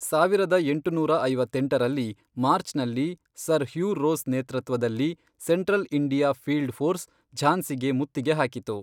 ಸಾವಿರದ ಎಂಟುನೂರ ಐವತ್ತೆಂಟರಲ್ಲಿ, ಮಾರ್ಚ್ನಲ್ಲಿ, ಸರ್ ಹ್ಯೂ ರೋಸ್ ನೇತೃತ್ವದಲ್ಲಿ ಸೆಂಟ್ರಲ್ ಇಂಡಿಯಾ ಫೀಲ್ಡ್ ಫೋರ್ಸ್ ಝಾನ್ಸಿಗೆ ಮುತ್ತಿಗೆ ಹಾಕಿತು.